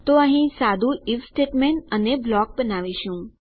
તો અહીં સાદું આઇએફ સ્ટેટમેંટ અને બ્લોક બનાવીશું